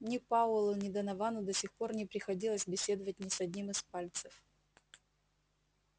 ни пауэллу ни доновану до сих пор не приходилось беседовать ни с одним из пальцев